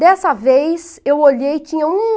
Dessa vez eu olhei e tinha um